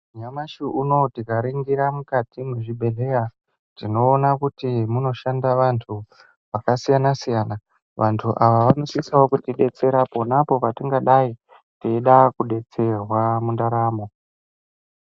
Nyamashi unowu tika ringira mukati mwe zvibhedhleya tinoona kuti munoshanda vantu vaka siyana siyana vantu ava vanosisawo kuti detsera ponapo pa tingadai teida ku detserwa mu ndaramo.